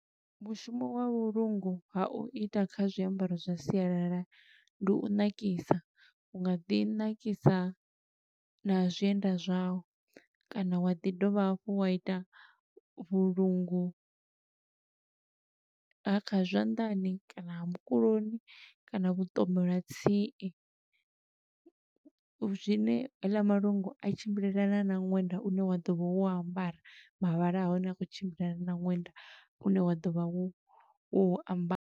Mushumo wa vhulungu ha u ita kha zwiambaro zwa sialala, ndi u ṋakisa. U nga ḓi nakisa na zwienda zwa u, kana wa ḓi dovha hafhu wa ita vhulungu, ha kha zwanḓani kana ha mukuloni, kana vhuṱomolatsie. Zwine heiḽa malungu a tshimbilelana na ṅwenda une wa ḓo vha wo u ambara, mavhala a hone a khou tshimbilelana na ṅwenda une wa ḓo vha wo u ambara.